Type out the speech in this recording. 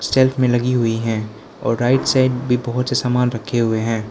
Self में लगी हुई है और राइट साइड भी बहोत से सामान रखे हुए हैं।